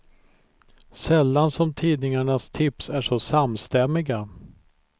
Sällan som tidningarnas tips är så samstämmiga.